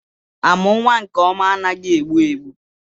Amụ nwa nke ọma anaghị egbu egbu.